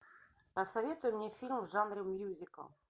посоветуй мне фильм в жанре мюзикл